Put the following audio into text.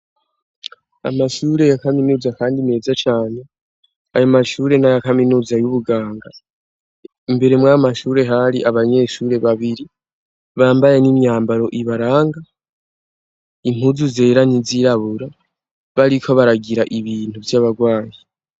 Amashure ya kaminuza kandi meza cane ayomashure n'ayakaminuza y'ubuganga. Imbere mw'ayomashure hari abanyeshure babiri bambaye n'imyambaro ibaranga; impuzu zera n'izirabura bariko baragira ibintu vy'abarwayi.